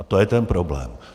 A to je ten problém.